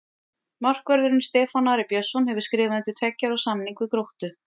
Markvörðurinn Stefán Ari Björnsson hefur skrifað undir tveggja ára samning við Gróttu.